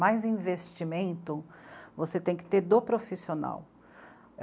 Mais investimento você tem que ter do profissional.